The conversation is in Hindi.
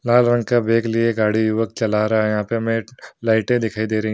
लाल रंग का बैग लिए गाड़ी युवक चला रहा है यहाँ पे हमें एक लाइटें दिखाई दे रहीं --